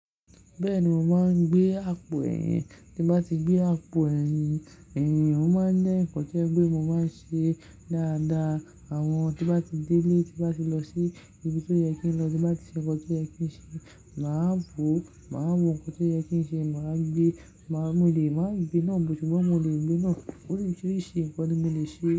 Bẹ́ẹ̀ni mò máa ń gbé àpò ẹ̀yìn. Tí mo bá ti gbé àpò ẹ̀yìn, mò ń máa ń dín ǹkan tẹ́lẹ̀ bí mò ń máa ṣe dáadáa. Àwọn tí mo bá ti délé, tí mo bá ti lọ sí ibi tó yẹ kí n lọ, tí mo bá ti ṣe nǹkan tó yẹ kí n ṣe, màá wò, màá wo nǹkan tó yẹ kí n ṣe, màá gbé, màá mòlè, màá gbé náà bó ti wọ́n mò le gbé náà. Oríṣiríṣi nǹkan tí mò le ṣe.